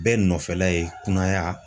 Bɛɛ nɔfɛla ye kunnaya